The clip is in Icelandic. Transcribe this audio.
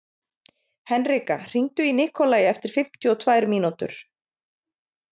Henrika, hringdu í Nikolai eftir fimmtíu og tvær mínútur.